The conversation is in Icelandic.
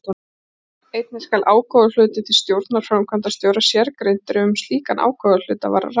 Einnig skal ágóðahluti til stjórnar og framkvæmdastjóra sérgreindur ef um slíkan ágóðahluta var að ræða.